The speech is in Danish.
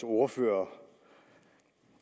ordfører